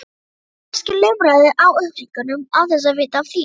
Kannski lumarðu á upplýsingum án þess að vita af því.